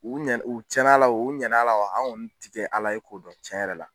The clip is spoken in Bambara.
U ɲɛ u cɛn'a la wo u ɲɛna la wo an kɔni ti kɛ ala ye k'o dɔn cɛn yɛrɛ la